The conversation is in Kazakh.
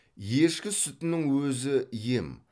ешкі сүтінің өзі ем